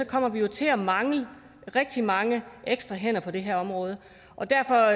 kommer vi til at mangle rigtig mange ekstra hænder på det her område derfor